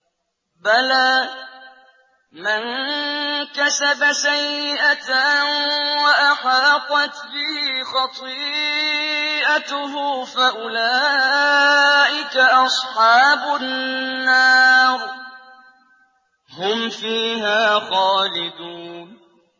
بَلَىٰ مَن كَسَبَ سَيِّئَةً وَأَحَاطَتْ بِهِ خَطِيئَتُهُ فَأُولَٰئِكَ أَصْحَابُ النَّارِ ۖ هُمْ فِيهَا خَالِدُونَ